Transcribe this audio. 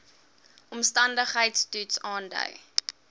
omstandigheids toets aandui